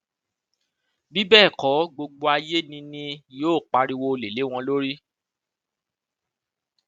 bí bẹẹ kọ gbogbo ayé ni ni yóò pariwo olè lé wọn lórí